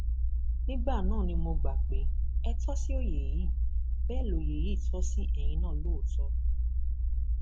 nígbà náà ni mo gbà pé ẹ tó ṣí òye yìí bẹẹ lóye yìí tò sí ẹyin náà lóòótọ